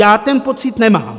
Já ten pocit nemám.